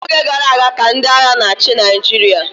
n'oge gara aga ka ndị agha na-achị Naịjirịa